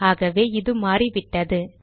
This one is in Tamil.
ஆகவே இது மாறிவிட்டது